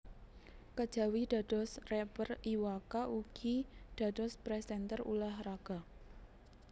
Kejawi dados rapper Iwa K ugi dados presenter ulah raga